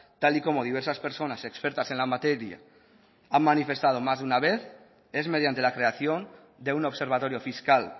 tal y como diversas personas expertas en la materia han manifestado más de una vez es mediante la creación de un observatorio fiscal